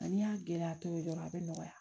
Nka n'i y'a gɛlɛya tɔ ye dɔrɔn a bi nɔgɔya